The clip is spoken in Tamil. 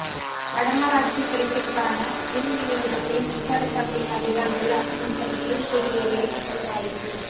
வடமராட்சி கிழக்கிற்கான மின் விநியோகத்தில் மின்சார சபையின் அதிகாரிகள் அசமந்தம் மீள்குடியேறிய மக்கள் பாதிப்பு